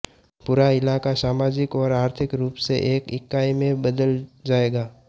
पूरा इलाका समाजिक और आर्थिक रूप से एक इकाई में बदल जाएगा